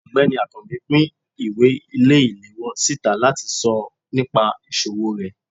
ọgbẹni akanbi pín ìwé ile-ìlewọ sitá latí sọ nìpa isòwó re.